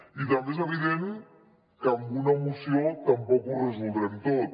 i també és evident que amb una moció tampoc ho resoldrem tot